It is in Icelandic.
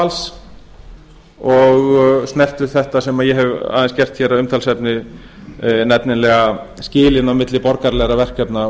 orðavals og snertu þetta sem ég hef aðeins gert hér að umtalsefni nefnilega skilin á milli borgaralegra verkefna